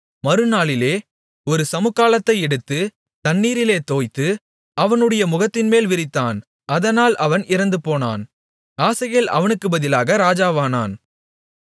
மறுநாளிலே ஒரு சமுக்காளத்தை எடுத்து தண்ணீரிலே தோய்த்து அவனுடைய முகத்தின்மேல் விரித்தான் அதனால் அவன் இறந்துபோனான் ஆசகேல் அவனுக்குப் பதிலாக ராஜாவானான்